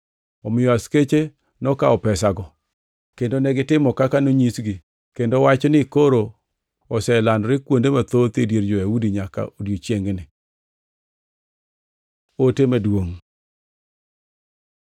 Omiyo askeche nokawo pesago, kendo negitimo kaka nonyisgi. Kendo wachni koro oselandore kuonde mathoth e dier jo-Yahudi nyaka odiechiengni. Ote Maduongʼ